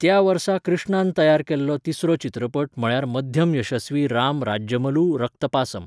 त्या वर्सा कृष्णान तयार केल्लो तिसरो चित्रपट म्हळ्यार मध्यम यशस्वी राम राज्यमलू रक्तपासम.